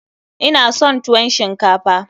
Ina son tuwon shinkafa.